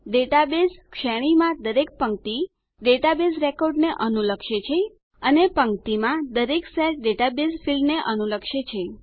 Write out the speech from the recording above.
database શ્રેણીમાં દરેક પંક્તિ ડેટાબેઝ રેકોર્ડને અનુલક્ષે છે અને પંક્તિમાં દરેક સેલ ડેટાબેઝ ફિલ્ડને અનુલક્ષે છે